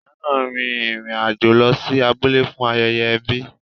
Ìyá náà rin ìrìn àjò lọ sí abúlé fún ayẹyẹ ẹbi.